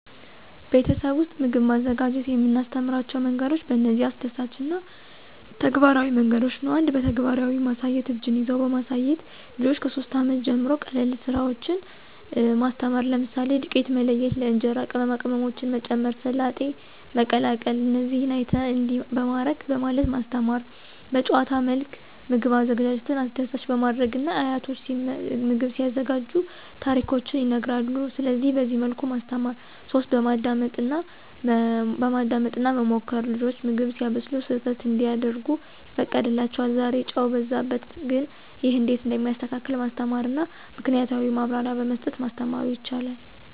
ቤተሰብ ውስጥ ምግብ ማዘጋጀት የምናስተምራቸው መንገዶች በእነዚህ አስደሳች እና ተግባራዊ መንገዶች ነው። 1, በተግባራዊ ማሳያት (እጅን ይዘው በማሳየት) • ልጆች ከ3 ዓመት ጀምሮ ቀላል ስራዎችን ማስተማር፣ ለምሳሌ፦ • ዱቄት መለየት (ለእንጀራ) • ቅመማ ቅመሞችን መጨመር • ሰላጤ መቀላቀል • "እዚህ አይተህ፣ እንዲህ በማድረግ..." በማለት ማስተማራ። 2, በጨዋታ መልክ ምግብ አዘጋጀትን አስደሳች በማድረግና አያቶች ምግብ ሲያዘጋጁ ታሪኮችን ይነግራሉ ስለዚህ በዚያ መልክ ማስተማር። 3, በማዳመጥ እና መሞከር • ልጆች ምግብ ሲያበስሉ ስህተት እንዲያደርጉ ይፈቀድላቸዋል • "ዛሬ ጨው በዛበት፣ ግን ይህ እንዴት እንደሚስተካከል ማስተማርና "ምክናያታዊ ማብራሪያ በመስጠ ማስተማሩ ይቻላል።